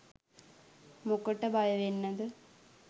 මොකට බයවෙන්නද.